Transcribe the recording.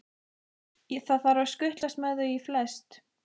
Það þarf að skutlast með þau í flest.